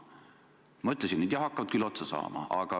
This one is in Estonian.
Ma ütlesin ka, et need hakkavad otsa saama.